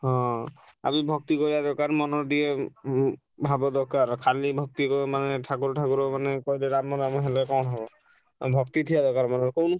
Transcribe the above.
ହଁ ଆଉ ବି ଭକ୍ତି କରିଆ ଦରକାର ମନ ଟିକେ ଉଁ ଭାବ ଦରକାର ଖାଲି ଭକ୍ତି ମାନେ ଠାକୁର ଠାକୁର ମାନେ କହିଲେ ରାମ ରାମ ହେଲେ କଣ ହବ। ଆଉ ଭକ୍ତି ଥିବା ଦରକାର ମନରେ କହୁନୁ।